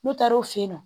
N'u taara o fe yen nɔ